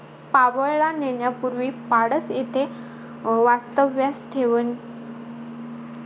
पावळला नेण्यापूर्वी, पाडत येथे अं वास्तव्यास ठेवण